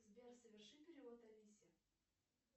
сбер соверши перевод алисе